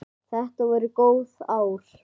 Þetta voru góð ár.